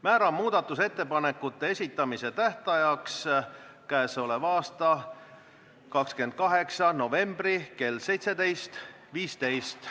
Määran muudatusettepanekute esitamise tähtajaks k.a 28. novembri kell 17.15.